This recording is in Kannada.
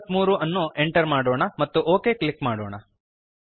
i ಗಾಗಿ 343 ಅನ್ನು ಎಂಟರ್ ಮಾಡೋಣ ಮತ್ತು ಒಕ್ ಕ್ಲಿಕ್ ಮಾಡೋಣ